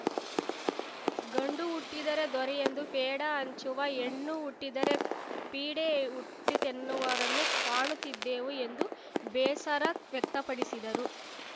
ಗಂಡು ಹುಟ್ಟಿದರೆ ದೊರೆಯೆಂದು ಪೇಡ ಹಂಚುವ ಹೆಣ್ಣು ಹುಟ್ಟಿದರೆ ಪೀಡೆ ಹುಟ್ಟಿತೆನ್ನುವರನ್ನೂ ಕಾಣುತ್ತಿದ್ದೇವೆ ಎಂದು ಬೇಸರ ವ್ಯಕ್ತಪಡಿಸಿದರು